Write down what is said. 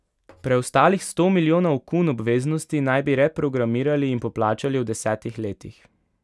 Preostalih sto milijonov kun obveznosti naj bi reprogramirali in poplačali v desetih letih.